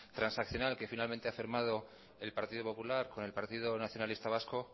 transaccional que finalmente ha firmado el partido popular con el partido nacionalista vasco